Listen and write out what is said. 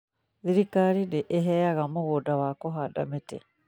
Thirikari nĩ ĩheaga mũgũnda wa kũhanda mĩtitũ